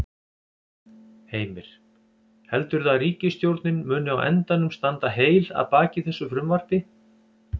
Heimir: Heldurðu að ríkisstjórnin muni á endanum standa heil að baki þessu frumvarpi?